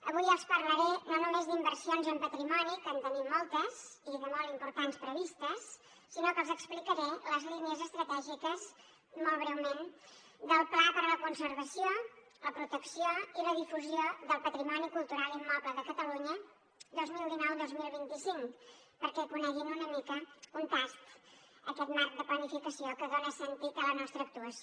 avui els parlaré no només d’inversions en patrimoni que en tenim moltes i de molt importants previstes sinó que els explicaré les línies estratègiques molt breument del pla per a la conservació la protecció i la difusió del patrimoni cultural immoble de catalunya dos mil dinou dos mil vint cinc perquè coneguin una mica un tast d’aquest marc de planificació que dona sentit a la nostra actuació